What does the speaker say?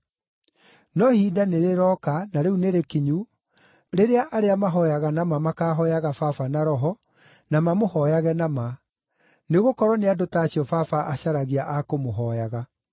No ihinda nĩrĩroka na rĩu nĩrĩkinyu, rĩrĩa arĩa mahooyaga na ma makaahooyaga Baba na roho, na mamũhooyage na ma, nĩgũkorwo nĩ andũ ta acio Baba acaragia a kũmũhooyaga.